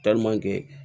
kɛ